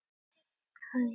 Hvaða dýr heyrir best?